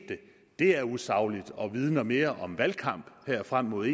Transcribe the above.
det er usagligt og vidner mere om valgkamp her frem mod